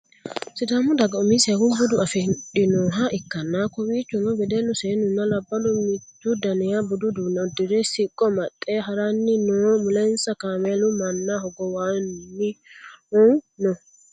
sidaamu daga umiseha bude afidhinoha ikkanna kowiichono wedellu seennunna labballu mittu daniha budu uduunne uddire siqqo amaxxe haranni no mulensa kameelu manna hogowannohu no